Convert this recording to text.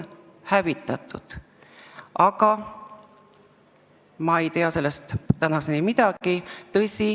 Aga ma ei tea sellest tänaseni midagi.